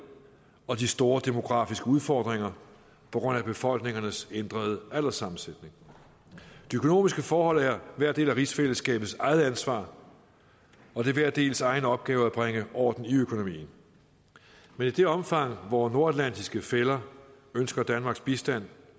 og de store demografiske udfordringer på grund af befolkningernes ændrede alderssammensætning de økonomiske forhold er hver del af rigsfællesskabets eget ansvar og det er hver dels egen opgave at bringe orden i økonomien men i det omfang vore nordatlantiske fæller ønsker danmarks bistand